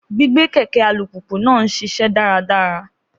Gbígbé kẹ̀kẹ́ alùpùpù náà ń ṣiṣẹ́ dáradára.